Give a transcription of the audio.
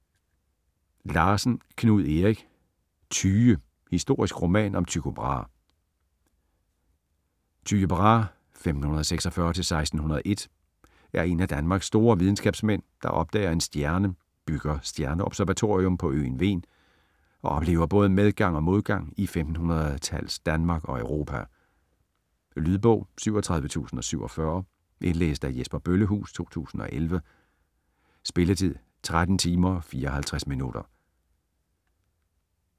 Larsen, Knud Erik: Tyge: historisk roman om Tycho Brahe Tyge Brahe (1546-1601) er en af Danmarks store videnskabsmænd, der opdager en stjerne, bygger stjerneobservatorium på øen Hven og oplever både medgang og modgang i 1500-talles Danmark og Europa. Lydbog 37047 Indlæst af Jesper Bøllehuus, 2011. Spilletid: 13 timer, 54 minutter.